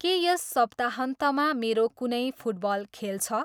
के यस सप्ताहन्तमा मेरो कुनै फुटबल खेल छ?